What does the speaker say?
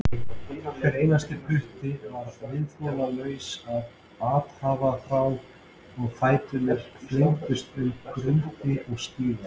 Hver einasti putti var viðþolslaus af athafnaþrá og fæturnir flengdust um grundir og stíga.